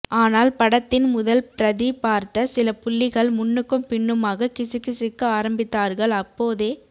ஆனால் படத்தின் முதல் பிரதி பார்த்த சில புள்ளிகள் முன்னுக்கும் பின்னுமாக கிசு கிசுக்க ஆரம்பித்தார்கள் அப்போதே